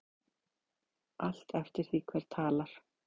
Allt eftir því hver talar.